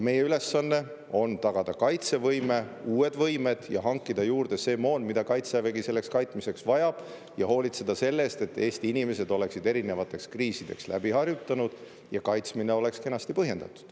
Meie ülesanne on tagada kaitsevõime ja uued võimed ning hankida juurde see moon, mida Kaitsevägi kaitsmiseks vajab, ja hoolitseda selle eest, et Eesti inimesed oleksid erinevaid kriise läbi harjutanud ja kaitsmine oleks kenasti põhjendatud.